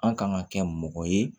An kan ka kɛ mɔgɔ ye